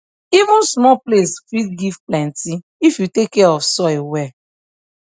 even small place fit give plenty if you take care of soil well